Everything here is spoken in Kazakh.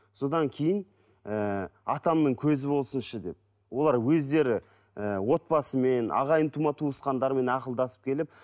содан кейін ііі атамның көзі болсыншы деп олар өздері і отбасымен ағайын тума туысқандарымен ақылдасып келіп